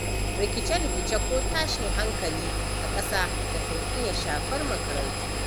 Rikce- rikice ko tashin hankali a ƙasa da ka iya shafar makarantu.